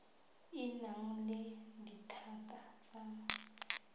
e nang le dithata tsa